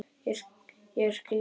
Ég skildi ekki.